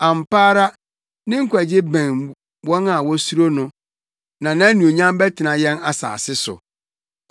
Ampa ara, ne nkwagye bɛn wɔn a wosuro no, na nʼanuonyam bɛtena yɛn asase so.